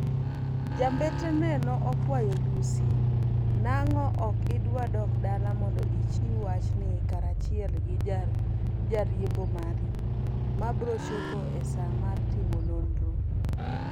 Ja mbetre ne okwayo Lussi: nang'o ok idwa dok dala mondo ichiw wach in karachiel gi jariembo mari, mabro chopo e saa mar timo nonro.